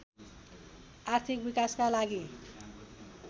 आर्थिक विकासका लागि